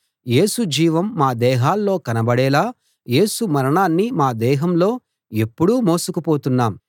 యేసు జీవం మా దేహాల్లో కనబడేలా యేసు మరణాన్ని మా దేహంలో ఎప్పుడూ మోసుకుపోతున్నాము